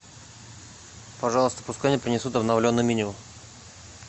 пожалуйста пускай мне принесут обновленное меню